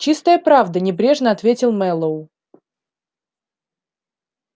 чистая правда небрежно ответил мэллоу